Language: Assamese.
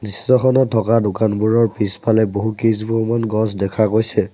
দৃশ্যখনত থকা দোকানবোৰৰ পিছফালে বহুকেইজোপামান গছ দেখা গৈছে।